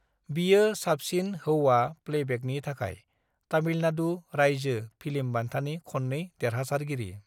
बियो साबसिन हौआ प्लेबैकनि थाखाय तामिलनाडु रायजो फिल्म बान्थानि खननै देरहासारगिरि।